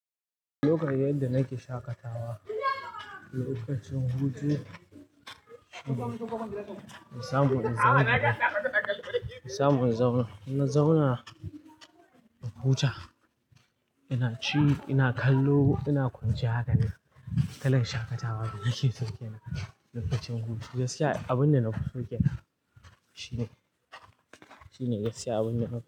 Lokacin yadda nake shaƙatawa, lokacin hutu, in samu in zauna, in samu in zauna, ina zauna in huta ina ci, ina kallo, ina kwanciya haka ne. Haka na shaƙatawa, shi yake saukena lokacin hutu. Gaskiya abin da na fi saukena shine, shine gaskiya abin da na fi.